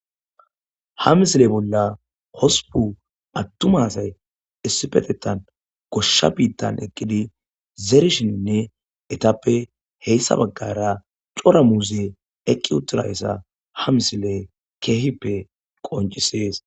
ha misile bolla hosupu attumasay issipetettan goshsha biittan eqqidi zeerishininne etappe heyssa baggara cora muuze eqqi utirayssa ha misile keehippe qoncisees